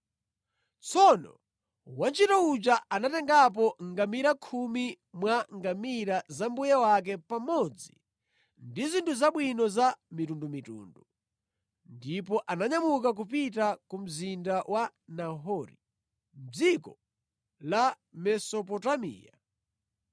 Tsono wantchito uja anatengapo ngamira khumi mwa ngamira za mbuye wake pamodzi ndi zinthu zabwino za mitundumitundu. Ndipo ananyamuka kupita ku mzinda wa Nahori, mʼdziko la Mesopotamiya.